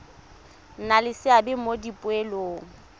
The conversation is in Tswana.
nna le seabe mo dipoelong